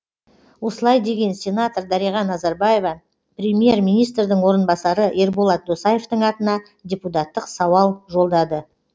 осылай деген сенатор дариға назарбаева премьер министрдің орынбасары ерболат досаевтың атына депутаттық сауал жолдады